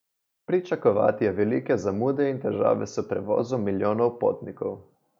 Pričakovati je velike zamude in težave s prevozom milijonov potnikov.